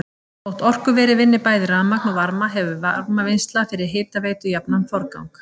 Þótt orkuverið vinni bæði rafmagn og varma hefur varmavinnsla fyrir hitaveitu jafnan forgang.